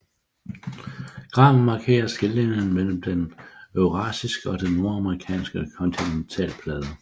Graven markerer skillelinjen mellem den eurasiske og nordamerikanske kontinentalplade